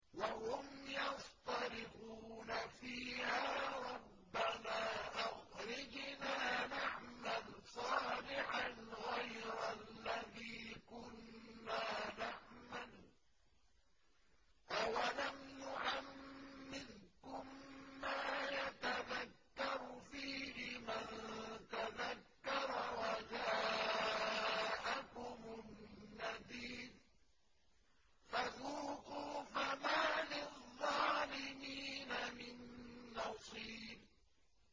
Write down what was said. وَهُمْ يَصْطَرِخُونَ فِيهَا رَبَّنَا أَخْرِجْنَا نَعْمَلْ صَالِحًا غَيْرَ الَّذِي كُنَّا نَعْمَلُ ۚ أَوَلَمْ نُعَمِّرْكُم مَّا يَتَذَكَّرُ فِيهِ مَن تَذَكَّرَ وَجَاءَكُمُ النَّذِيرُ ۖ فَذُوقُوا فَمَا لِلظَّالِمِينَ مِن نَّصِيرٍ